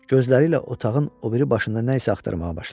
Gözləriylə otağın o biri başında nə isə axtarmağa başladı.